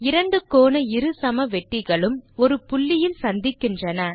இரண்டு கோண இருசமவெட்டிகளும் ஒரு புள்ளியில் சந்திக்கின்றன